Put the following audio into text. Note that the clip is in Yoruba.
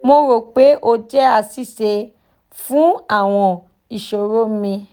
mo ro pe o jẹ aṣiṣe fun awọn iṣoro mi